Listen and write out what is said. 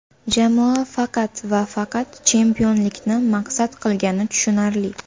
Jamoa faqat va faqat chempionlikni maqsad qilgani tushunarli.